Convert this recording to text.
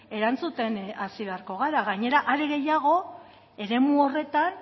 erantzuten hasi beharko gara gainera are gehiago eremu horretan